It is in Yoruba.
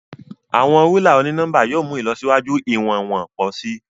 Awọn rúlà oni-nọmba yóò mú ìlọsíwájú iwọnwọn pọ si.